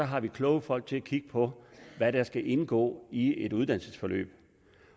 har vi kloge folk til at kigge på hvad der skal indgå i et uddannelsesforløb